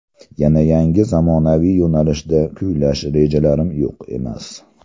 Yana yangi zamonaviy yo‘nalishda kuylash rejalarim yo‘q emas.